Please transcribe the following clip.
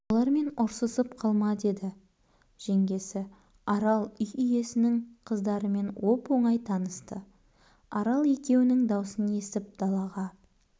олармен ұрсысып қалма деді жеңгесі арал үй иесінің қыздарымен оп-оңай танысты арал екеуінің даусын естіп далаға